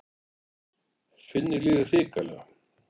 Finni líður hrikalega.